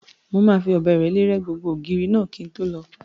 Mo máa fi ọ̀bẹ ìrẹ́lé rẹ́ gbogbo ògiri náà kí n tó lọ